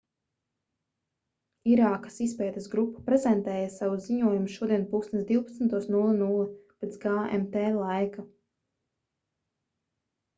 irākas izpētes grupa prezentēja savu ziņojumu šodien plkst 12:00 pēc gmt laika